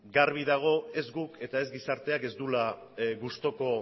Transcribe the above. garbi dago ez guk eta ez gizarteak ez duela gustuko